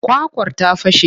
Kwakwar ta fashe.